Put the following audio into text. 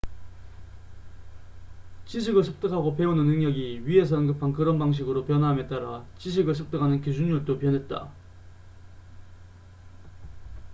지식을 습득하고 배우는 능력이 위에서 언급한 그런 방식으로 변화함에 따라 지식을 습득하는 기준율도 변했다